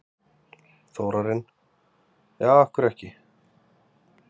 Þórarinn: Já, af hverju ekki?